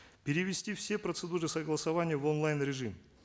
перевести все процедуры согласования в онлайн режим